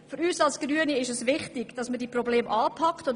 Für uns Grüne ist es wichtig, dass wir dieses Problem anpacken.